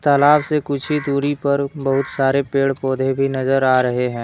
तालाब से कुछ ही दूरी पर बहुत सारे पेड़ पौधे भी नजर आ रहे हैं।